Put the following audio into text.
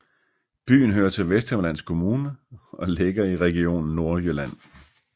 Byen hører til Vesthimmerlands Kommune og ligger i Region Nordjylland